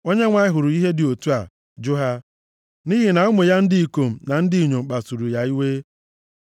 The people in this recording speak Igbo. Onyenwe anyị hụrụ ihe dị otu a, jụ ha, nʼihi na ụmụ ya ndị ikom na ndị inyom kpasuru ya iwe.